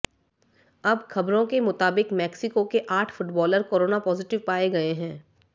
अब खबरों के मुताबिक मेक्सिको के आठ फुटबॉलर कोरोना पॉजिटिव पाए गए हैं